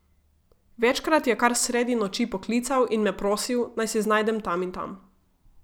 Večkrat je kar sredi noči poklical in me prosil, naj se znajdem tam in tam.